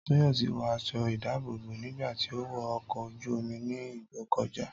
Tóyọ̀sí wọ aṣọ ìdábòbò nígbà tí ó wọ ọkọ̀ ojú-omi ní Ìgbọ́kọ̀dá